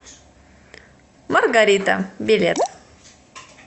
маргарита билет